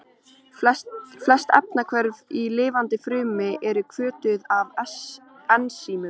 Flest efnahvörf í lifandi frumu eru hvötuð af ensímum.